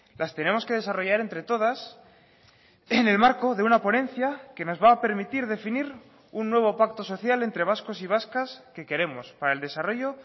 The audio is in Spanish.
las tenemos que desarrollar entre todas en el marco de una ponencia que nos va a permitir definir un nuevo pacto social entre vascos y vascas que queremos para el desarrollo